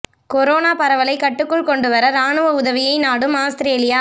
corona பரவலை கட்டுக்குள் கொண்டு வர ராணுவ உதவியை நாடும் ஆஸ்திரேலியா